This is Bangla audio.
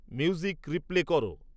মিউজিক রিপ্লে কর